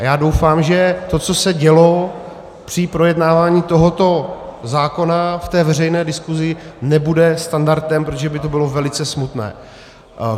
A já doufám, že to, co se dělo při projednávání tohoto zákona v té veřejné diskuzi, nebude standardem, protože by to bylo velice smutné.